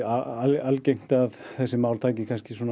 algengt að þessi mál taki